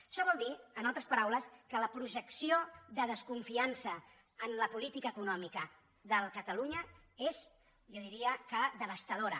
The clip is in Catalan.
això vol dir amb altres paraules que la projecció de desconfiança en la política econòmica de catalunya és jo diria devastadora